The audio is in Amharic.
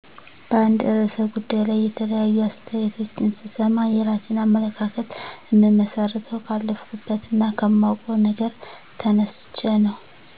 በአንድ ርዕሰ ጉዳይ ላይ የተለያዩ አስተያየቶችን ስሰማ፣ የራሴን አመለካከት እምመሰርተው ካለፈኩበት እና ከማዉቀው ነገር ተነስቸ ነዉ።